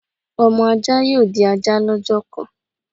Ọmọ ajá yóò di ajá lọ́jọ́ kan